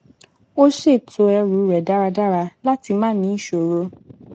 ó ṣètò ẹrù rẹ dáradára láti má ní ìṣòro